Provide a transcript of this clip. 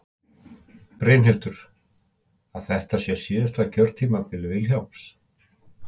Brynhildur: Að þetta sé síðasta kjörtímabil Vilhjálms?